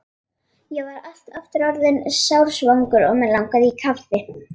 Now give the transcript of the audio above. Ég var aftur orðinn sársvangur og mig langaði í kaffi.